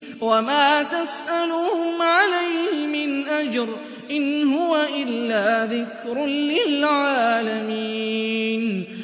وَمَا تَسْأَلُهُمْ عَلَيْهِ مِنْ أَجْرٍ ۚ إِنْ هُوَ إِلَّا ذِكْرٌ لِّلْعَالَمِينَ